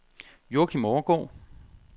Joachim Overgaard